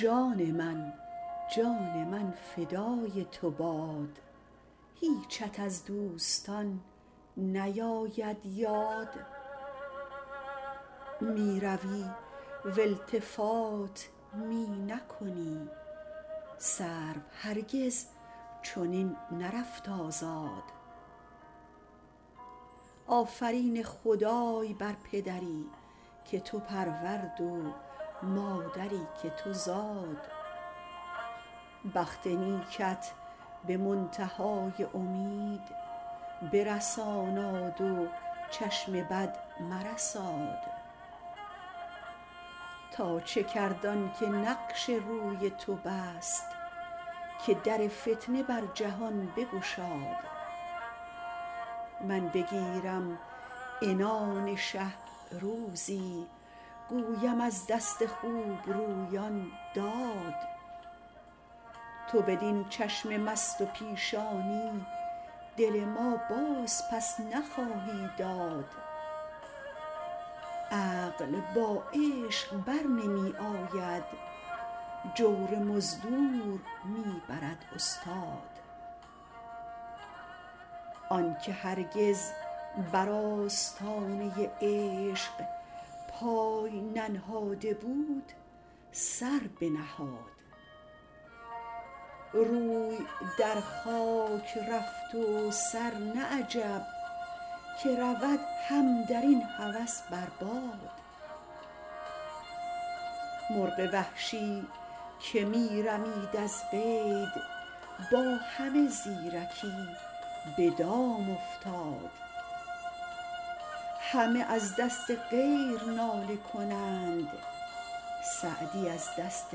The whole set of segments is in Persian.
جان من جان من فدای تو باد هیچت از دوستان نیاید یاد می روی و التفات می نکنی سرو هرگز چنین نرفت آزاد آفرین خدای بر پدری که تو پرورد و مادری که تو زاد بخت نیکت به منتها ی امید برساناد و چشم بد مرساد تا چه کرد آن که نقش روی تو بست که در فتنه بر جهان بگشاد من بگیرم عنان شه روزی گویم از دست خوبرویان داد تو بدین چشم مست و پیشانی دل ما بازپس نخواهی داد عقل با عشق بر نمی آید جور مزدور می برد استاد آن که هرگز بر آستانه عشق پای ننهاده بود سر بنهاد روی در خاک رفت و سر نه عجب که رود هم در این هوس بر باد مرغ وحشی که می رمید از قید با همه زیرکی به دام افتاد همه از دست غیر ناله کنند سعدی از دست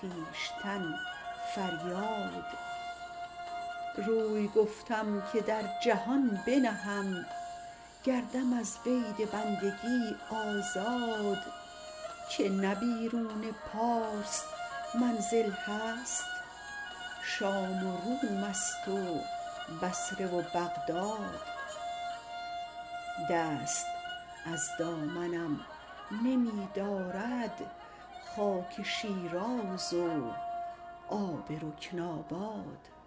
خویشتن فریاد روی گفتم که در جهان بنهم گردم از قید بندگی آزاد که نه بیرون پارس منزل هست شام و روم ست و بصره و بغداد دست از دامنم نمی دارد خاک شیراز و آب رکن آباد